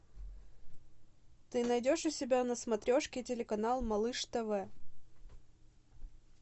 ты найдешь у себя на смотрешке телеканал малыш тв